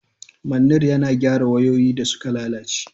Manir yana gyara wayoyi da suka lalace.